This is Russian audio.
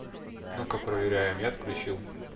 ну-ка проверяем я отключил